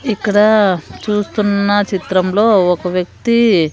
ఇక్కడ చూస్తున్న చిత్రంలో ఒక వ్యక్తి--